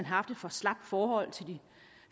haft et for slapt forhold til de